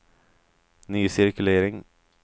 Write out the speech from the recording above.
ny cirkulering